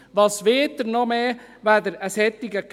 Was wollen Sie noch mehr, als eine solche Gemeinde?